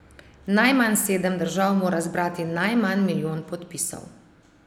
Najmanj sedem držav mora zbrati najmanj milijon podpisov.